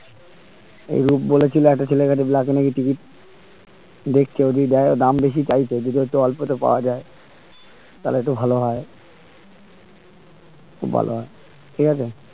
সৌরভ বলেছিলো একটা ছেলেকে নিয়ে black এ নাকি ticket দেখছি যদি দে দাম বেশি চাইছে যদি একটু অল্প তে পাওয়া যাই তাহলে একটু ভালো হয় খুব ভালো হয় ঠিক আছে